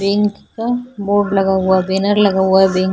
bank का board लगा हुआ है बैनर लगा हुआ है बैंक --